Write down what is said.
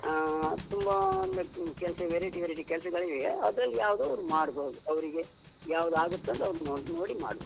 ಹಾ, ತುಂಬ ಒಂದು ಕೆಲ್ಸ variety, variety ಕೆಲ್ಸಗಳಿವೆ ಅದ್ರಲ್ ಯಾವ್ದೋ ಒಂದ್ ಮಾಡ್ಬೋದು ಅವ್ರಿಗೆ ಯಾವ್ದಾಗುತ್ತಂತ ಅವ್ರು ನೋಡಿ ಮಾಡ್ಬೇಕು.